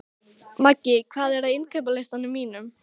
Maggý, hvað er á innkaupalistanum mínum?